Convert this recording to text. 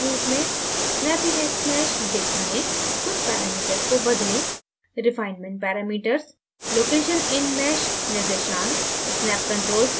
snappyhexmeshdict में कुछ parameters को बदलें